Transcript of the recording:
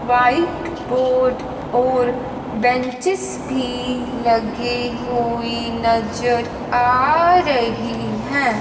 White board और benches भी लगे हुए नजर आ रही है।